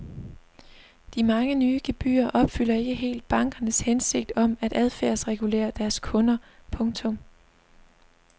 De mange nye gebyrer opfylder ikke helt bankernes hensigt om at adfærdsregulere deres kunder. punktum